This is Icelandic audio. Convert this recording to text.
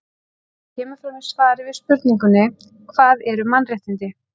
eins og kemur fram í svari við spurningunni hvað eru mannréttindi